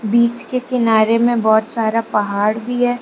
बीच के किनारे में बहुत सारा पहाड़ भी है।